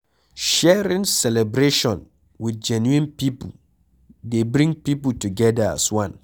Sharing celebration with genuine pipo dey bring pipo together as one